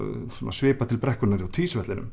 svipar til brekkunnar hjá